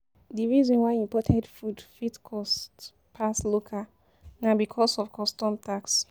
Di reason why imported food fit cost pass local na because of custom tax